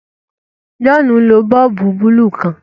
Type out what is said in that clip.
John nlò boolubu buluu kán